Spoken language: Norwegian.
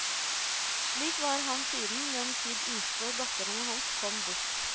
Slik var han siden den tid yngste datteren hans kom bort.